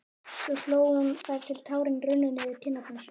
Svo hló hún þar til tárin runnu niður kinnarnar.